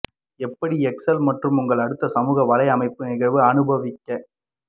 எப்படி எக்செல் மற்றும் உங்கள் அடுத்த சமூக வலையமைப்பு நிகழ்வு அனுபவிக்க